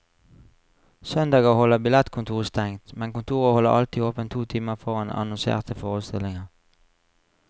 Søndager holder billettkontoret stengt, men kontoret holder alltid åpent to timer foran annonserte forestillinger.